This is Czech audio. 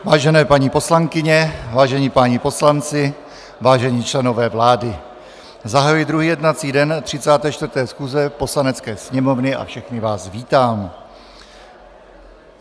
Vážené paní poslankyně, vážení páni poslanci, vážení členové vlády, zahajuji druhý jednací den 34. schůze Poslanecké sněmovny a všechny vás vítám.